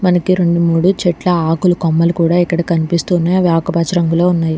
మనకి రెండు మూడు చెట్ల ఆకులు కొమ్మలు కూడా ఇక్కడ కనిపిస్తున్నాయి అవి ఆకుపచ్చ రంగులో ఉన్నాయి.